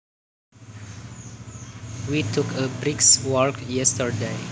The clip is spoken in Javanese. We took a brisk walk yesterday